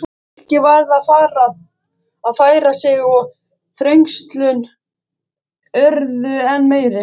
Fólkið varð að færa sig og þrengslin urðu enn meiri.